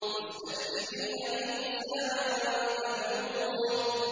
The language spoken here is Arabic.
مُسْتَكْبِرِينَ بِهِ سَامِرًا تَهْجُرُونَ